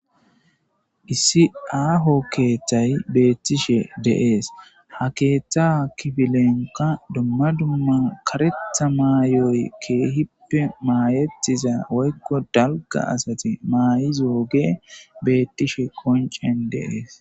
Issi aaho keeththay beettishe deees ha keeththa kifilenka dumma dumma karetha maayoy keehippe maayetiza woykko dalga asati maay'izo ge beettishe qoncen deees.